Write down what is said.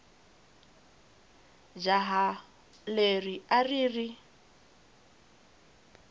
jaha leri a ri ri